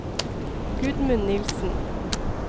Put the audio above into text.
Gudmund Nilsen